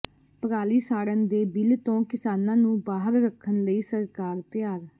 ਪਰਾਲੀ ਸਾੜਨ ਦੇ ਬਿਲ ਤੋਂ ਕਿਸਾਨਾਂ ਨੂੰ ਬਾਹਰ ਰਖਣ ਲਈ ਸਰਕਾਰ ਤਿਆਰ